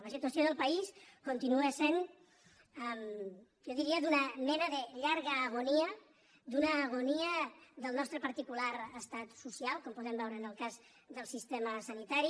la situació del país continua sent jo diria d’una mena de llarga agonia d’una ago·nia del nostre particular estat social com podem veu·re en el cas del sistema sanitari